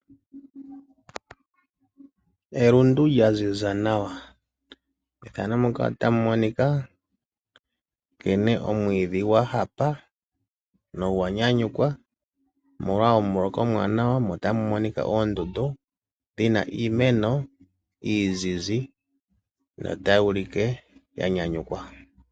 Elundu lya ziza nawa, methano muka ota mu monika nkene omwiidhi gwa hapa nogwa nyanyukwa omolwa omuloka omwaanawa mo ota mu monika oondundu dhi na iimeno iizizi notayi ulike ya nyanyukwa.